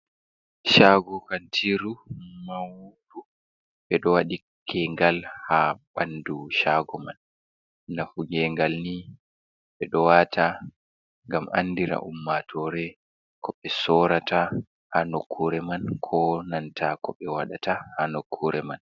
Shago kantiiru maundu, ɓe ɗo waɗi gengal haa ɓandu shago man. Nafu gengal ni, ɓe ɗo waata ngam andina ummatoore ko ɓe soorata haa nokkure man, koo nanta ko ɓe waɗata haa nokkure man.